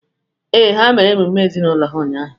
Ee, ha mere emume ezinaụlọ ha ụnyahụ.